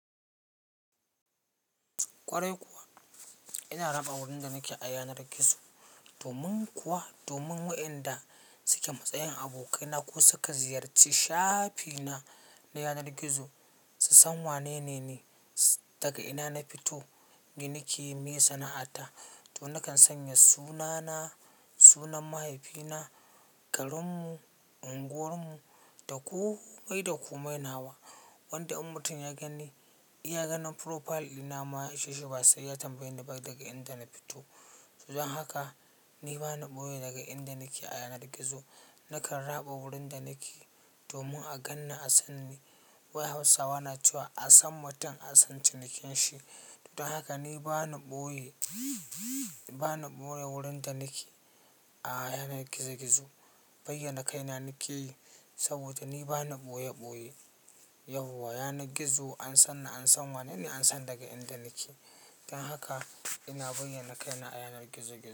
Kwarai kuwa. Ina raba wurin da nake a yanar gizo domin kuwa, domin waɗanda suke matsayin abokaina ko suka ziyarci shafina na yanar gizo su san wanene ni, daga ina na fito, giniki, me sana'ata. To nakan sanya sunana, sunan mahaifina, garinmu, unguwarmu da komai da komai. Nawa wanda in mutun ya gani, ya ga na profile ɗina ma ya isheshi ba sai ya tambaye ni ba daga inda na fito. Don haka ni bana ɓoye daga inda nake a yanar gizo. Nakan raba wurin da nake domin a gan ni, a san ni. Hausawa na cewa "a san mutum, a san cinikin shi". Don haka ni bana ɓoye, bana ɓoye wurin da nake a yanar gizo gizo. Bayyana kai na nake yi saboda ni bana ɓoye ɓoye. Yau a yanar gizo an san na, an san wanene an san daga inda nake. Don haka ina bayyana kaina a yanar gizo gizo.